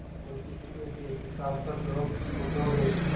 मुंशी जी के इस नैतिक साहस पर लोग मुगध हो गए